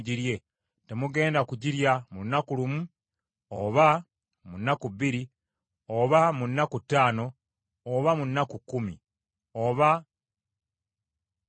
Temugenda kugirya mu lunaku lumu, oba mu nnaku bbiri, oba mu nnaku ttaano, oba mu nnaku kkumi, oba nnaku abiri;